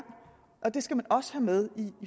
det skal man også have med